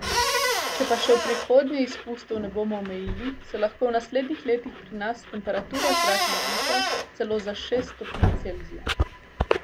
Če pa še v prihodnje izpustov ne bomo omejili, se lahko v naslednjih letih pri nas temperatura zraka zviša celo za šest stopinj Celzija!